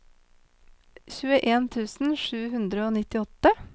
tjueen tusen sju hundre og nittiåtte